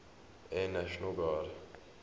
air national guard